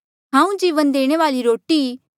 हांऊँ जीवन देणे वाली रोटी ई